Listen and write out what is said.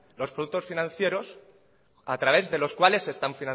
los productos financieros a través de los cuales se están